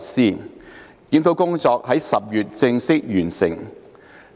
整個檢討工作於10月正式完成。